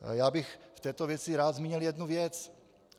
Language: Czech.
Já bych v této věci rád zmínil jednu věc.